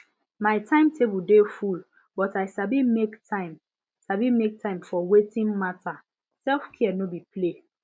my timetable dey full but i sabi make time sabi make time for wetin matter selfcare no be play